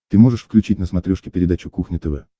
ты можешь включить на смотрешке передачу кухня тв